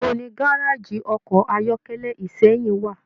Ibo ni gárájí ọkọ ayọkẹlẹ Ìsẹ́yìn wa?